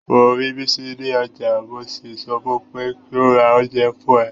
Mo rí Bisi ní ọjà, mo sì sọ fún pé kí ó ra oúnjẹ fún ẹ.